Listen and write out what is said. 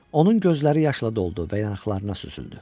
Onun gözləri yaşla doldu və yanaqlarına süzüldü.